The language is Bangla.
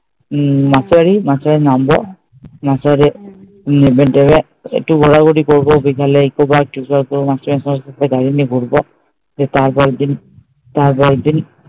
উম নামবো নেমে তেমে একটু ঘোরাঘুরি করবো বিকেলে একটু নিয়ে ঘুরবা দিয়ে তার পরের দিন, তার পরের দিন